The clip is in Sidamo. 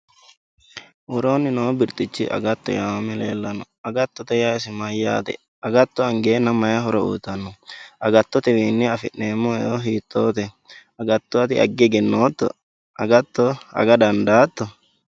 Woroonni noo birxichi agatto yaamame leellanno agattote yaa isi mayyaate agatto angeenna mayi horo uyitanno agattotewiinni afi'neemmo eo hiittoote agatto ati agge egennootto agatto aga dandaatto